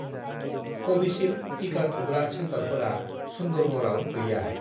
कविसिल्द टिका थुग्रा सेन्टारफोरा सुन्दरगड़आव गैया।